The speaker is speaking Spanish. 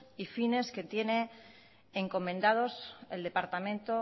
y fines que tiene encomendados el departamento